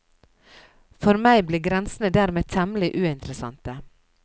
For meg blir grensene dermed temmelig uinteressante.